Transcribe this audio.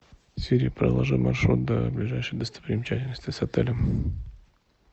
сири проложи маршрут до ближайшей достопримечательности с отелем